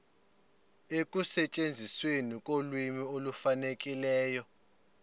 ekusetyenzisweni kolwimi olufanelekileyo